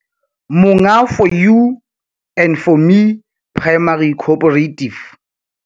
Monga 4 U and 4 Me Primary Cooperative